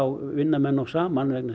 vinna menn nú saman